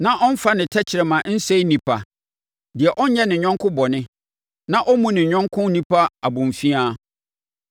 na ɔmfa ne tɛkrɛma nsɛe nnipa deɛ ɔnnyɛ ne yɔnko bɔne na ɔmmu ne yɔnko onipa abomfiaa,